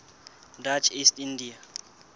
dutch east india